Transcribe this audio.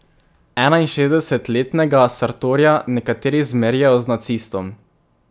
Enainšestdesetletnega Sartorja nekateri zmerjajo z nacistom.